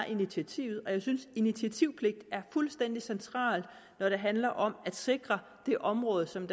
initiativet og jeg synes initiativpligt er fuldstændig centralt når det handler om at sikre det område som